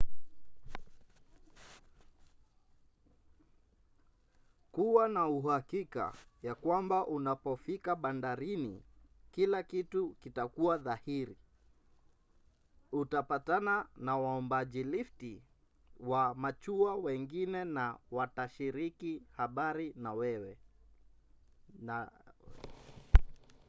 kuwa na uhakika ya kwamba unapofika bandarini kila kitu kitakuwa dhahiri. utapatana na waombajilifti wa machua wengine na watashiriki habari nawewe